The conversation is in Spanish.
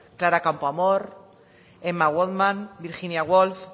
clara campoamor emma goldman virginia woolf